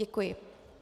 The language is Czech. Děkuji.